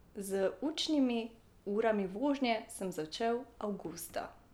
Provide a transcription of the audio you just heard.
Z učnimi urami vožnje sem začel avgusta.